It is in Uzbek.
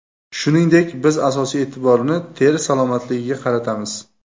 Shuningdek, biz asosiy e’tiborni teri salomatligiga qaratamiz.